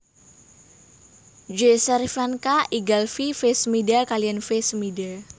J Cervinka I Galfy V Smida kaliyan V Smida